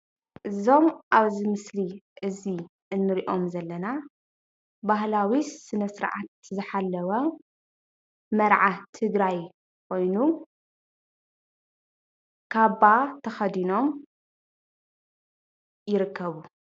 እዚም አብዚ ምስሊ እዛ እንሪኦም ዘለና ባህላዊ ሰነ ስርዓት ዝሓለወ መርዓ ትግራይ ኮይኑ ካባ ተከዲኖም ይርከቡ፡፡